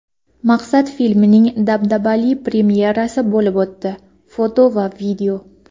"Maqsad" filmining dabdabali premyerasi bo‘lib o‘tdi (foto va video).